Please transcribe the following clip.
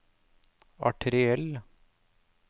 arteriell